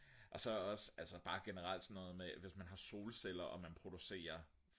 og så også altså bare generelt sådan hvis man har solceller og man producerer